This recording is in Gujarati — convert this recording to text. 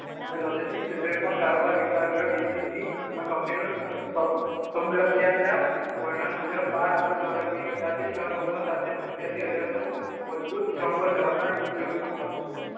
ને લોજેસ્ટીક ક્ષેત્રે પણ કારોબાર વિસ્તાર કર્યો બીબીસીમાં કંપનીનું વર્ણન મુજબ બાર અબજ ડોલરની અંદાજિત તન ઓવર સાથે પંચ્યાસી હજારનું મજબૂત પલમ્બર ધરાવનાર ઉદ્યોગ